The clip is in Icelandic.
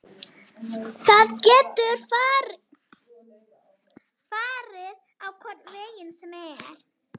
Það getur farið á hvorn veginn sem er.